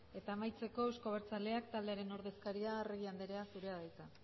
eta amaitzeko euzko abertzaleak taldearen ordezkaria arregi anderea zurea da hitza